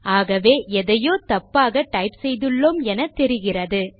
ஆகவே எதையோ தப்பாக டைப் செய்துள்ளோம் என தெரிகிறது